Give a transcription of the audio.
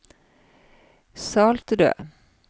Saltrød